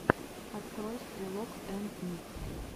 открой стрелок энд ник